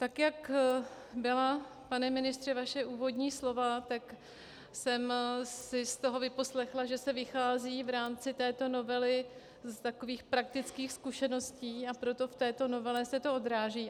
Tak jak byla, pane ministře, vaše úvodní slova, tak jsem si z toho vyposlechla, že se vychází v rámci této novely z takových praktických zkušeností, a proto v této novele se to odráží.